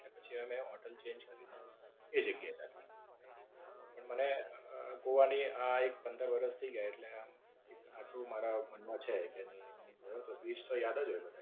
એટલે પછી અમે હોટેલ Change કરીને એ જગ્યા એ રાખી. પણ, મને અમ ગોવા ની આ એક પંદર વરસ થઈ ગયા એટલે એક આટું મારા મન માં છે કે નઈ હું ગયો હતો twist તો યાદ જ હોય મને